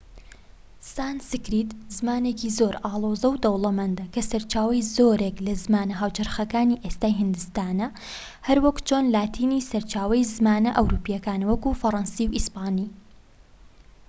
سانسکریت زمانێکی زۆر ئاڵۆز و دەوڵەمەندە کە سەرچاوەی زۆرێک لە زمانە هاوچەرخەکانی ئێستای هیندستانە هەروەک چۆن لاتینی سەرچاوەی زمانە ئەوروپییەکانە وەک فەرەنسی و ئیسپانی